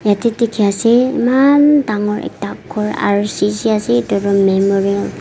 yatey dikhi ase imaan dangor ekta ghor rcc ase itutu memorial --